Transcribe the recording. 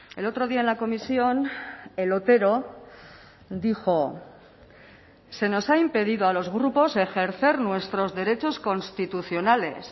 el otro día en la comisión el otero dijo se nos ha impedido a los grupos ejercer nuestros derechos constitucionales